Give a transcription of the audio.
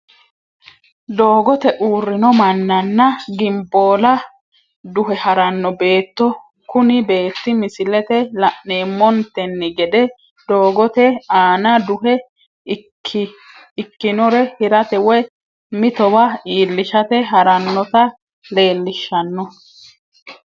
Doogote uurino manana gimboolla duhe harano beeto, kuni beeti misilete la'neemontenni gede dogote aanna duhe ikkinore hirate woyi mitowa iillishate haranota leellishano